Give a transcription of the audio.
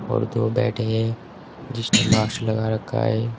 और दो बैठे हैं जिसने मास्क लगा रखा है।